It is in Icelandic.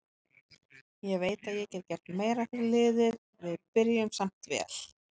Ég veit að ég get gert meira fyrir liðið, við byrjuðum samt vel.